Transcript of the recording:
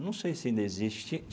Não sei se ainda existe.